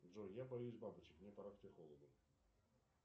джой я боюсь бабочек мне пора к психологу